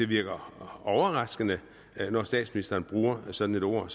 virker overraskende når statsministeren bruger et sådant ord